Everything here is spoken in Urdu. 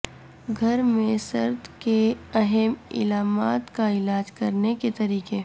گھر میں سرد کے اہم علامات کا علاج کرنے کے طریقے